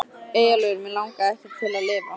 Eyjólfur Mig langaði ekki til að lifa.